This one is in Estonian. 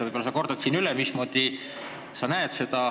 Võib-olla sa kordad siinkohal üle, mismoodi sa seda koostööd näed.